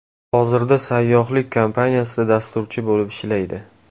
Hozirda sayyohlik kompaniyasida dasturchi bo‘lib ishlaydi.